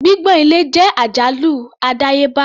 Gbígbọ̀n ilẹ̀ jẹ́ àjálù àdáyébá.